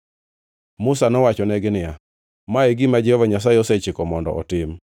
Musa nowachonegi niya, “Ma e gima Jehova Nyasaye osechiko mondo otim.”